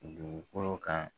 Dugukolo kan